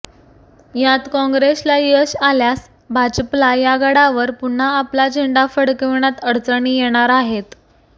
यात काँग्रेसला यश आल्यास भाजपला या गडावर पुन्हा आपला झेंडा फडकाविण्यात अडचणी येणार आहेत